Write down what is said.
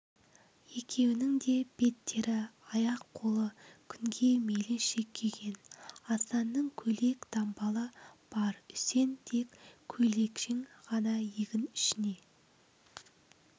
екеуінің де беттері аяқ-қолы күнге мейлінше күйген асанның көйлек-дамбалы бар үсен тек көйлекшең ғана егін ішіне